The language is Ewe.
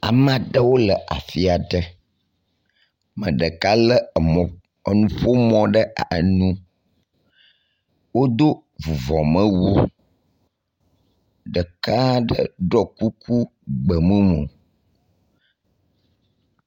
Ame aɖewo le afi aɖe. Me ɖeka le mɔ enuƒomɔ ɖe enu. Wodo vuvɔmewu. Ɖeka ɖe ɖɔ kuku gbemumu.